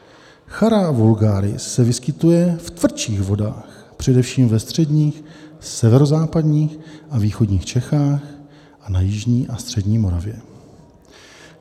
Chara vulgaris se vyskytuje v tvrdších vodách, především ve středních, severozápadních a východních Čechách a na jižní a střední Moravě.